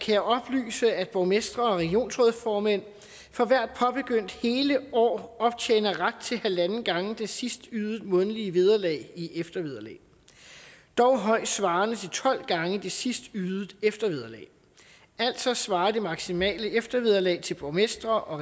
jeg oplyse at borgmestre og regionsrådsformænd for hvert påbegyndt hele år optjener ret til halvanden gang det sidst ydede månedlige vederlag i eftervederlag dog højst svarende til tolv gange det sidst ydede eftervederlag altså svarer det maksimale eftervederlag til borgmestre og